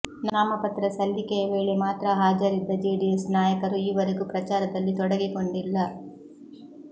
ನಾಮಪತ್ರ ಸಲ್ಲಿಕೆಯ ವೇಳೆ ಮಾತ್ರ ಹಾಜರಿದ್ದ ಜೆಡಿಎಸ್ ನಾಯಕರು ಈವರೆಗೂ ಪ್ರಚಾರದಲ್ಲಿ ತೊಡಗಿಕೊಂಡಿಲ್ಲ